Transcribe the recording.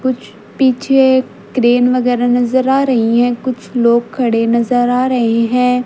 कुछ पीछे क्रेन वगैरह नजर आ रही हैं कुछ लोग खड़े नजर आ रहे हैं।